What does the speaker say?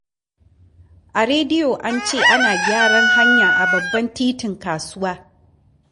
A rediyo an ce ana gyaran hanya a babban titin kasuwa.